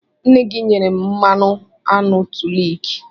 Nne gị nyere m mmanụ aṅụ to lick.